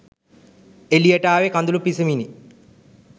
එළියට ආවේ කඳුළු පිසිමිනි